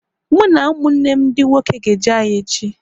Mụ na ụmụnne m dị nwoke ga-eje ahịa echi